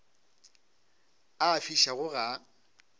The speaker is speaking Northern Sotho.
a a fišago ga a